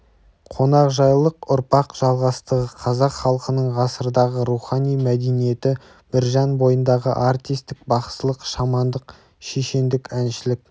қонақжайлық ұрпақ жалғастығы қазақ халқының ғасырдағы рухани мәдениеті біржан бойындағы артистік бақсылық шамандық шешендік әншілік